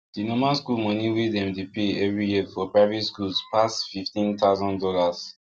the normal school money wey dem dey pay every year for private schools pass fifteen thousand dollars